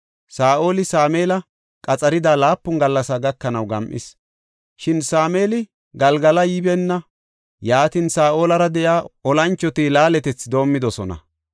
Saa7oli Sameeli keerida laapun gallas gakanaw gam7is; shin Sameeli Galgala yibeenna; yaatin, Saa7olara de7iya olanchoti laaletethi doomidosona.